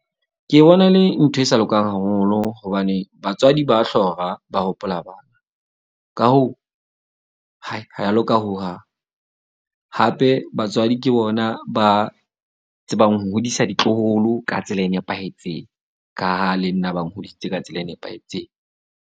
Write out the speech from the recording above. Ke bona e le ntho e sa lokang haholo. Hobane batswadi ba hlora, ba hopola bana. Ka hoo, ha ya loka hohang. Hape batswadi ke bona ba tsebang ho hodisa ditloholo ka tsela e nepahetseng, ka ha le nna ba nhodisitse ka tsela e nepahetseng.